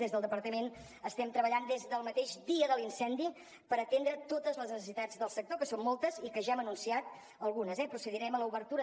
des del departament estem treballant des del mateix dia de l’incendi per atendre totes les necessitats del sector que són moltes i que ja n’hem anunciat algunes procedirem a l’obertura